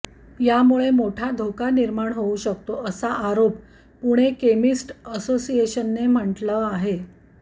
यामुळे मोठा धोका निर्माण होऊ शकतो असा आरोप पुणे केमिस्ट असोसिएशनने म्हटलं आहे